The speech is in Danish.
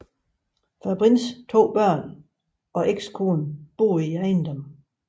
Fabrins to børn og ekskone boede i ejendommen